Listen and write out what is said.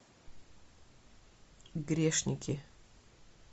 грешники